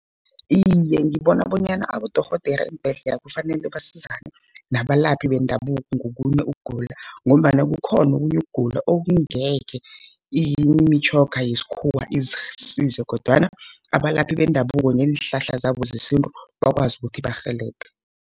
Iye, ngibona bonyana abodorhodera eembhedlela kufanele basizane nabalaphi bendabuko ngokunye ukugula, ngombana kukhona okunye ukugula okungekhe imitjhoga yesikhuwa isize kodwana abalaphi bendabuko ngeenhlahla zabo zesintu bakwazi ukuthi barhelebhe.